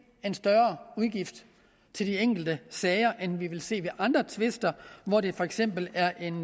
en større udgift til de enkelte sager end vi vil se ved andre tvister hvor det for eksempel er en